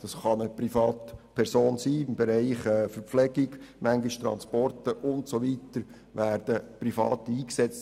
Es kann eine Privatperson im Bereich der Verpflegung sein und manchmal werden auch im Bereich der Transporte Private eingesetzt.